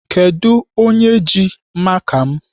Kedụ onye ji maka m?